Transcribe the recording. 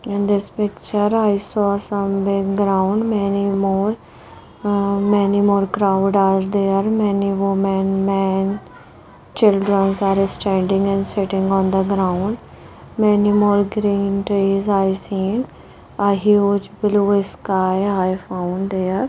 In this picture I saw some background many more ah many more crowd are there many women man children's are standing and sitting on the ground many more green trees i see A huge blue sky i found there.